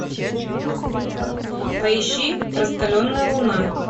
поищи раскаленная луна